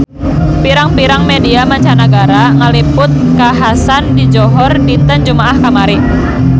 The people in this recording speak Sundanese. Pirang-pirang media mancanagara ngaliput kakhasan di Johor dinten Jumaah kamari